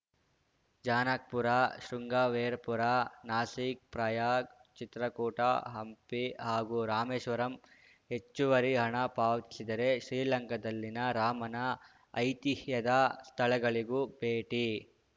ಜಾನಕ್‌ಪುರ ಶೃಂಗವೇರಪುರ ನಾಸಿಕ್‌ ಪ್ರಯಾಗ್‌ ಚಿತ್ರಕೂಟ ಹಂಪಿ ಹಾಗೂ ರಾಮೇಶ್ವರಂ ಹೆಚ್ಚುವರಿ ಹಣ ಪಾವತಿಸಿದರೆ ಶ್ರೀಲಂಕಾದಲ್ಲಿನ ರಾಮನ ಐತಿಹ್ಯದ ಸ್ಥಳಗಳಿಗೂ ಭೇಟಿ